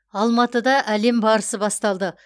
алматыда әлем барысы басталды